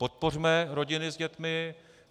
Podpořme rodiny s dětmi.